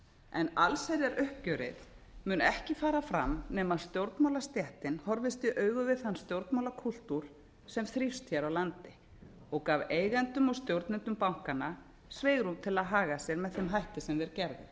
en allsherjaruppgjörið mun ekki fara fram nema stjórnmálastéttin horfist í augu við þann stjórnmálakúltúr sem þrífst hér á landi og gaf eigendum og stjórnendum bankanna svigrúm til að haga sér með þeim hætti sem þeir